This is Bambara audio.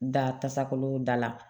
Da tasakolo da la